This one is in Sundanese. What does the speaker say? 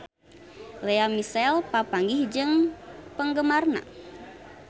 Lea Michele papanggih jeung penggemarna